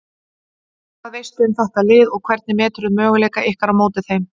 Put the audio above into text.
Hvað veistu um þetta lið og hvernig meturðu möguleika ykkar á móti þeim?